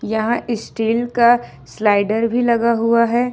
यहां स्टील का स्लाइडर भी लगा हुआ है।